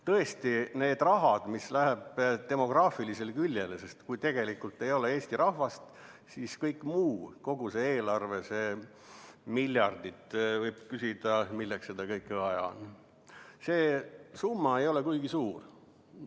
Tõesti, see raha, mis läheb demograafilisele küljele – kui ei ole eesti rahvast, siis võib küsida, et milleks seda kõike muud vaja on, kogu seda eelarvet, neid miljardeid –, ei ole kuigi suur.